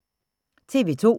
TV 2